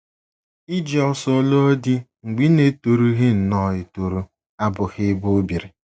Iji ọsọ lụọ di mgbe ị na - etorughị nnọọ etoru abụghị ebe o biri